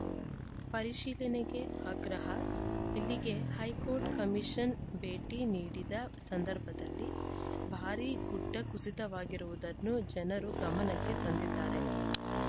ಪರಿಶೀಲನೆಗೆ ಆಗ್ರಹ ಇಲ್ಲಿಗೆ ಹೈಕೋರ್ಟ್‌ ಕಮೀಷನ್‌ ಭೇಟಿ ನೀಡಿದ ಸಂದರ್ಭದಲ್ಲಿ ಭಾರೀ ಗುಡ್ಡ ಕುಸಿತವಾಗಿರುವುದನ್ನು ಜನರು ಗಮನಕ್ಕೆ ತಂದಿದ್ದಾರೆ